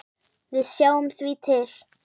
Við sjáum því til.